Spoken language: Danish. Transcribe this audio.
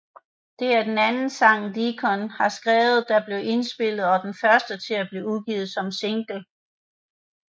Det er den anden sang Deacon har skrevet der blev indspillet og den første til at blive udgivet som single